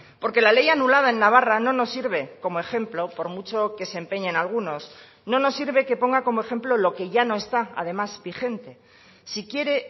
porque la ley anulada en navarra no nos sirve como ejemplo por mucho que se empeñen algunos no nos sirve que ponga como ejemplo lo que ya no está además vigente si quiere